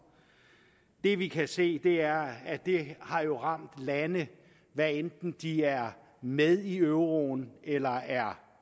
det vi kan se er at det har ramt lande hvad enten de er med i euroen eller er